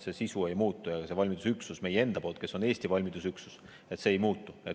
Sisu ei muutu ja valmidusüksus meie enda poolt, Eesti valmidusüksus ei muutu.